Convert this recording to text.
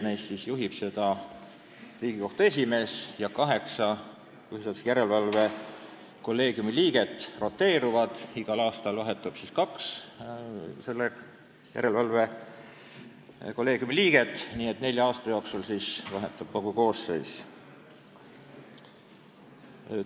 Kolleegiumi juhib Riigikohtu esimees ja kaheksa järelevalvekolleegiumi liiget roteeruvad: igal aastal vahetub kaks liiget, nii et nelja aasta jooksul vahetub kogu koosseis.